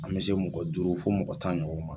An bɛ se mɔgɔ duuru fo mɔgɔ tan ɲɔgɔn ma